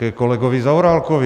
Ke kolegovi Zaorálkovi.